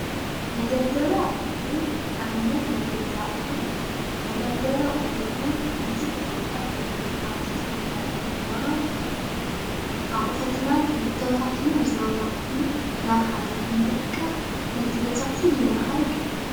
መደርደር ኣቑሑ ኣብነት ናይ ገዛ ኣቑሑ እዩ፡፡ መደርደሪ ኣቑሑ ቡዙሕ ጥቅሚታት ኣለዎ። ኣብ ጥቅምታት ድማ ኣቑሕትና ተባታቲኖም ዝነበሩ ኣቑሑ ናብ ሐደ ብምእካብ ነቲ ገዛ ፉሉይ ማዓርግ ይህቦ።